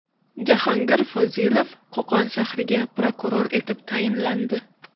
Jahongir Fozilov Qo‘qon shahriga prokuror etib tayinlandi.